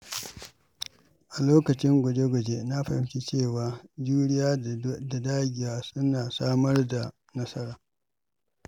A lokacin guje-guje, na fahimci cewa juriya da dagewa suna samar da nasara.